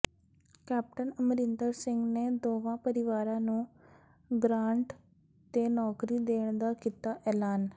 captain Amarinder Singh ਨੇ ਦੋਵਾਂ ਪਰਿਵਾਰਾਂ ਨੂੰ ਗ੍ਾਂਟ ਤੇ ਨੌਕਰੀ ਦੇਣ ਦਾ ਕੀਤਾ ਐਲਾਨ